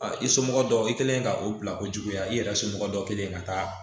A i somɔgɔ dɔw i kɛlen ka o bila o juguya i yɛrɛ somɔgɔ dɔ kɛlen ka taa